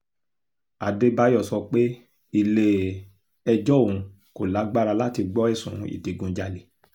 adébáyò sọ pé ilé-ẹjọ́ òun kò lágbára láti gbọ́ ẹ̀sùn ìdígunjalè